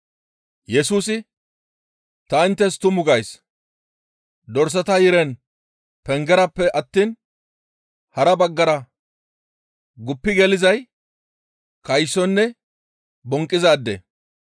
Yesusi, «Ta inttes tumu gays; dorsata yiren pengerappe attiin hara baggara guppi gelizay kaysonne bonqqizaade.